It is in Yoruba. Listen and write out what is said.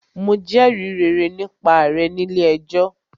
Mo jẹrìí rere nípa rẹ̀ nílé ẹjọ́.